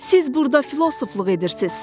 Siz burda filosofluq edirsiz.